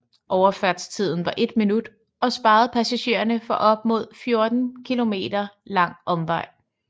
Overfartstiden var 1 minut og sparede passagererne for en op til 14 kilometer lang omvej